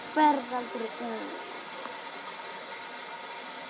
Þú ferð aldrei út.